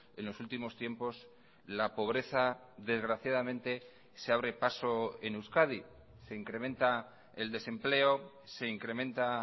en los últimos tiempos la pobreza desgraciadamente se abre paso en euskadi se incrementa el desempleo se incrementa